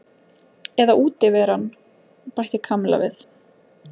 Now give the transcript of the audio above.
Eða útiveran bætti Kamilla við.